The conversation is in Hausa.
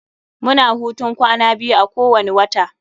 Mu na hutun kwana biyu a kowani wata.